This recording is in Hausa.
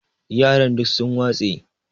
yaran duk sun watse